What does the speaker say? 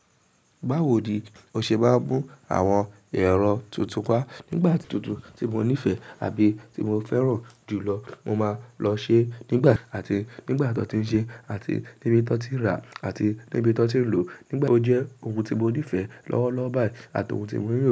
Bawo ni o ṣe máa ń mú àwọn ẹ̀rọ tuntun wá nígbà tuntun tí mo nífẹ̀ẹ́ àbí ti mo fẹ́ràn jù lọ, mo máa lọ ṣe nígbà àti nígbà tó ti ń ṣe àti níbi tó ti rà àti níbi tó ti ń lò, nígbà tó jẹ́ oun tí mo nífẹ̀ẹ́ lọ́wọ́lọ́wọ́ báyìí àti oun tí mo ń rò.